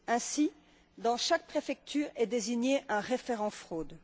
Ainsi, dans chaque préfecture est désigné un référent fraude.